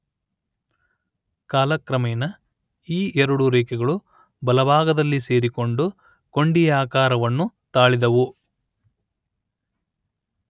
ಕಾಲಕ್ರಮೇಣ ಈ ಎರಡು ರೇಖೆಗಳೂ ಬಲಭಾಗದಲ್ಲಿ ಸೇರಿಕೊಂಡು ಕೊಂಡಿಯಾಕಾರವನ್ನು ತಾಳಿದವು